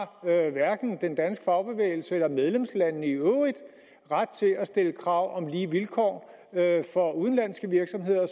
hverken den danske fagbevægelse eller medlemslandene i øvrigt ret til at stille krav om lige vilkår for udenlandske virksomheder